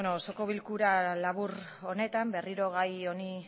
bueno osoko bilkura labur honetan berriro gai